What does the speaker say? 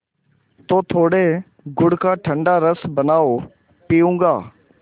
तो थोड़े गुड़ का ठंडा रस बनाओ पीऊँगा